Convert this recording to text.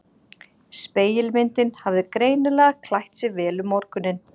Spegilmyndin hafði greinilega klætt sig vel um morguninn.